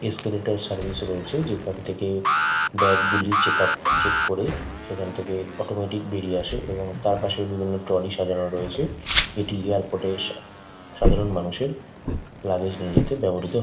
Escalator service -ও রয়েছে। যেখান থেকে ব্যাগ -গুলি চেক আপ চেক করে সেখান থেকে অটোমেটিক বেরিয়ে আসে এবং তারপাশে বিভিন্ন ট্রলি সাজানো রয়েছে। এটি এয়ারপোর্ট -এর সাধারণ মানুষের লাগেজ নিয়ে যেতে ব্যাবহৃত --